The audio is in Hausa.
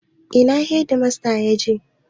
Ina hedimasta ya je?